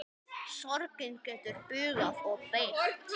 Sorgin getur bugað og beygt.